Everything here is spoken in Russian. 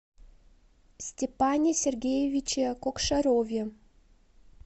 степане сергеевиче кокшарове